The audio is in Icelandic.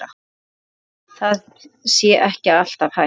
Það sé ekki alltaf hægt.